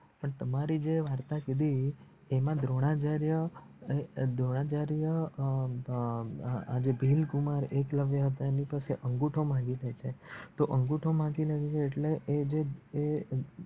પણ તમારી જે વાર્તા કીધી એનામા દ્રોણાચાર્ય અ દ્રોણાચાર્ય અ અ અ ભીલકુમાર એકલવ્ય હતા આની પાસ અંગુઠો માંગી સકે તો અંગુઠો માંગી ને એ જે એ